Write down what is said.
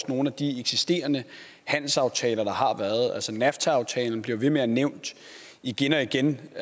nogle af de eksisterende handelsaftaler nafta aftalen bliver nævnt igen og igen